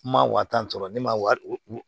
Ma wa tan sɔrɔ ne ma wa